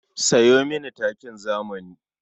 Sayo mini takin zamani.